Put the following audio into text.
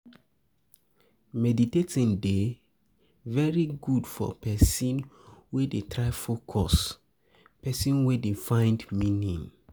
Meditating dey very good for person wey dey try focus, person wey dey find meaning